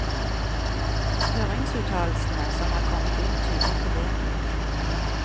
Høringsuttalelsene som er kommet inn tyder på det.